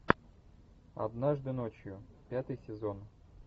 однажды ночью пятый сезон